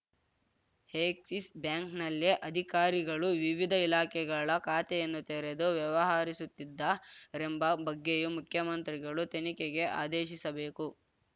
Axis ಬ್ಯಾಂಕ್‌ನಲ್ಲೇ ಅಧಿಕಾರಿಗಳು ವಿವಿಧ ಇಲಾಖೆಗಳ ಖಾತೆಯನ್ನು ತೆರೆದು ವ್ಯವಹರಿಸುತ್ತಿದ್ದಾರೆಂಬ ಬಗ್ಗೆಯೂ ಮುಖ್ಯಮಂತ್ರಿಗಳು ತನಿಖೆಗೆ ಆದೇಶಿಸಬೇಕು